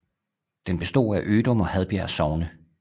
Den bestod af Ødum og Hadbjerg Sogne